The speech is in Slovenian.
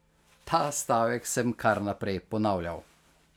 Ta stavek sem kar naprej ponavljal.